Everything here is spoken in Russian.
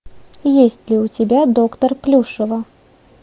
есть ли у тебя доктор плюшева